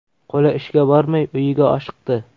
Qo‘li ishga bormay, uyiga oshiqdi.